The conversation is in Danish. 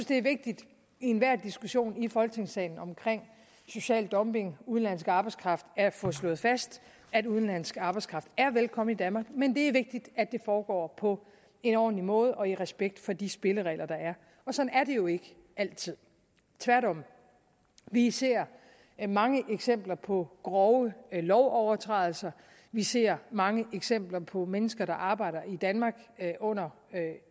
det er vigtigt i enhver diskussion i folketingssalen om social dumping og udenlandsk arbejdskraft at få slået fast at udenlandsk arbejdskraft er velkommen i danmark men det er vigtigt at det foregår på en ordentlig måde og i respekt for de spilleregler der er og sådan er det jo ikke altid tværtimod vi ser mange eksempler på grove lovovertrædelser vi ser mange eksempler på mennesker der arbejder i danmark under